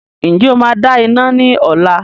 Ǹjẹ́ o máa dá iná ní ọ̀la?